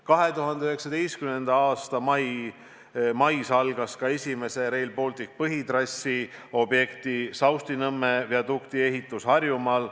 2019. aasta mais algas ka Rail Balticu põhitrassi esimese objekti, Saustinõmme viadukti ehitus Harjumaal.